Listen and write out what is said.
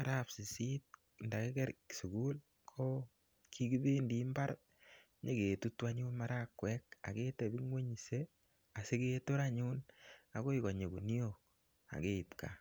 araap sisit nda kiker sukul ko kikipendi mbar nyi ketutu anyun marakwek ak ketepukung'se asiketor anyun akoi konyi guniok ak keip gaa.